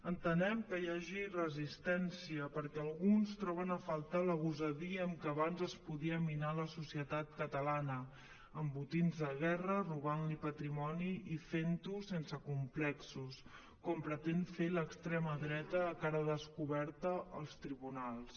entenem que hi hagi resistència perquè alguns troben a faltar la gosadia amb què abans es podia minar la societat catalana amb botins de guerra robant li patrimoni i fent ho sense complexos com pretén fer l’extrema dreta a cara descoberta als tribunals